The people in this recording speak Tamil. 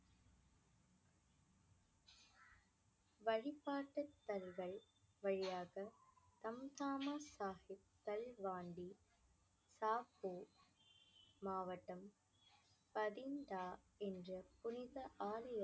வழிபாட்டுத்தலங்கள் வழியாக மாவட்டம் என்ற புனித ஆலயத்தை